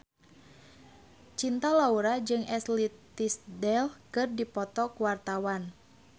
Cinta Laura jeung Ashley Tisdale keur dipoto ku wartawan